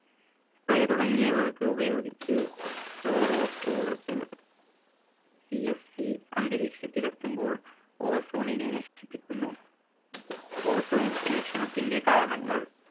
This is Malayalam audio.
തുടങ്ങിയവർക്ക് ഉപയോഗിച്ച് അന്തരീക്ഷത്തിൽ എത്തുമ്പോൾ ozone നെ നശിപ്പിക്കുന്നു ozone ശേഷണത്തിന്റെ കാരണങ്ങൾ